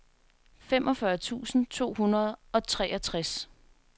femogfyrre tusind to hundrede og treogtres